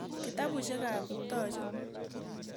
Kitapusyek ap Kiptoo chu.